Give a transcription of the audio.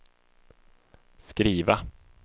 skriva